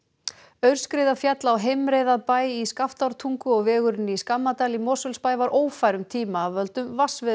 aurskriða féll á heimreið að bæ í Skaftártungu og vegurinn í Skammadal í Mosfellsbæ var ófær um tíma af völdum